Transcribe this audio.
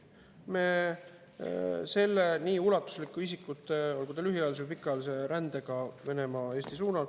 Me maandame sellega kindlasti julgeolekuriske, mis on seotud nii ulatusliku isikute lühiajalise või pikaajalise rändega Venemaa-Eesti suunal.